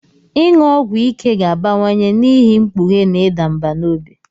Ịṅụ ọgwụ ike ga-abawanye n'ihi mkpughe na ịda mbà n'obi.